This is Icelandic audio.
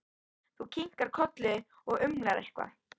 Þú kinkar kolli og umlar eitthvað.